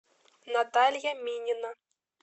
наталья минина